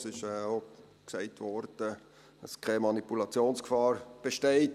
Es wurde auch gesagt, dass keine Manipulationsgefahr besteht.